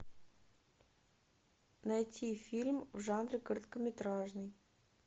найти фильм в жанре короткометражный